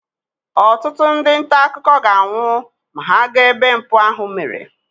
ọtụtụ ndị nta akụkọ ga-anwụ ma ha gaa ebe mpụ ahụ mere